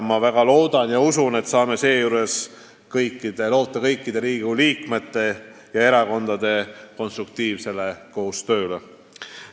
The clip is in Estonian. Ma väga loodan ja tegelikult usun, et saame seejuures loota kõikide Riigikogu liikmete ja erakondade konstruktiivsele koostööle.